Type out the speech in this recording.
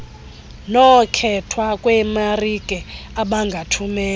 nokkhethwa kweemarike abangathumela